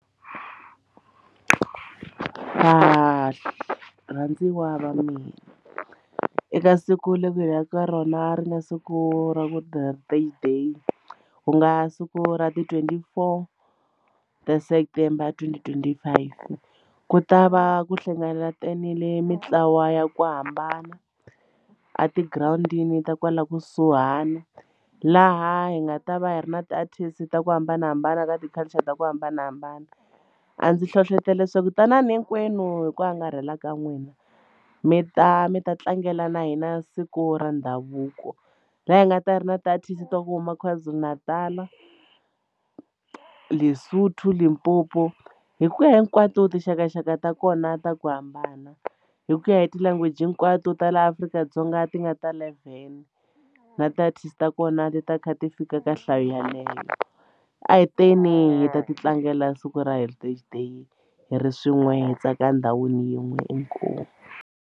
Varhandziwa va mina eka siku leri hi ya ka ka rona ri nga siku ra vu day ku nga siku ra ti-twenty four ta september twenty twenty five ku ta va ku hlanganetile mintlawa ya ku hambana a tigirawundini ta kwala kusuhana laha hi nga ta va hi ri na ti-artist ta ku hambanahambana ka ti-culture ta ku hambanahambana a ndzi hlohletela leswaku tanani hinkwenu hi ku angarhela ka n'wina mi ta mi ta tlangela na hina siku ra ndhavuko laha hi nga ta va hi ri na ti-artist ta ku huma Kwazulu-Natal, Lesotho, Limpopo hi ku ya hinkwato tinxakaxaka ta kona ta ku hambana hi ku ya hi ti-language hinkwato ta laha Afrika-Dzonga ti nga ta eleven na ti-artist ta kona ti ti kha ti fika ka nhlayo yaleyo a hi teni hi ta ti tlangela siku ra heritage day hi ri swin'we hi tsaka endhawini yin'we inkomu.